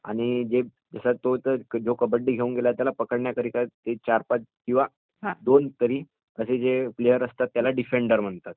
आणि तो जो कबड्डी घेऊन गेला आहे त्याला पकडण्याकरता ते चार पाच किंवा दोन तरी असे जे प्लेयर असतात त्यांना डिफेंडर म्हणतात.